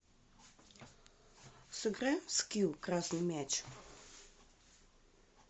сыграем в скилл красный мяч